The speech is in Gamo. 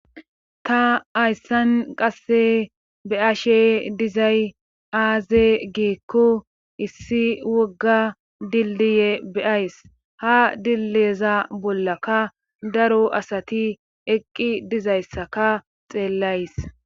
ta hayssan qasse beashe dizay aaze giikko issi wogga dildiye beays ha dilleza bollaka daro asati eqqi dizayssaka xeellays